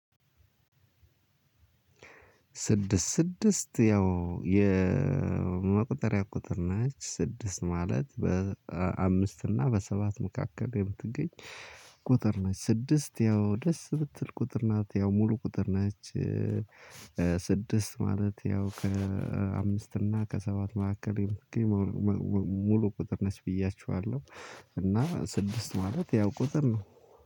ስድስት ስድስት ያው የመቁጠሪያ ቁጥር ነች ስድስት ማለት በአምስት እና በሰባት መካከል የምትገኝ ቁጥር ነች ስድስት ያው ደስ ምትል ቁጥር ናት ያው ሙሉ ቁጥር ናት። ስድስት ማለት ያው ከአምስት እና ከሰባት መካከል። ሙሉ ቁጥር ነሽ ብያችኋለሁ። እና ስድስት ማለት ያው ቁጥር ነው።